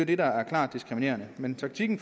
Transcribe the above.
det der er klart diskriminerende men taktikken